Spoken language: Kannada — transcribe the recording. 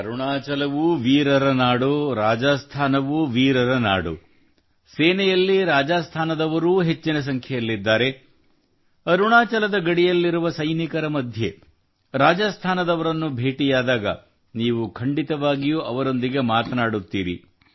ಅರುಣಾಚಲವೂ ವೀರರ ನಾಡು ರಾಜಸ್ಥಾನವೂ ವೀರರ ನಾಡು ಸೇನೆಯಲ್ಲಿ ರಾಜಸ್ಥಾನದವರು ಹೆಚ್ಚಿನ ಸಂಖ್ಯೆಯಲ್ಲಿದ್ದಾರೆ ಅರುಣಾಚಲದ ಗಡಿಯಲ್ಲಿರುವ ಸೈನಿಕರ ಮಧ್ಯೆ ರಾಜಸ್ಥಾನದವರನ್ನು ಭೇಟಿಯಾದಾಗ ನೀವು ಖಂಡಿತವಾಗಿಯೂ ಅವರೊಂದಿಗೆ ಮಾತನಾಡುತ್ತೀರಿ